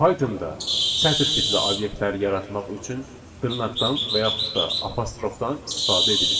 Pythonda sətr tipli obyektlər yaratmaq üçün dırnaqdan və yaxud da apostrofdan istifadə edilir.